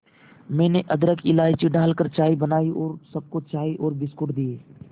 मैंने अदरक इलायची डालकर चाय बनाई और सबको चाय और बिस्कुट दिए